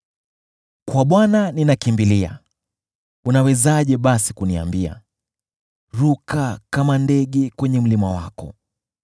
Kwa Bwana ninakimbilia, unawezaje basi kuniambia: “Ruka kama ndege kwenye mlima wako.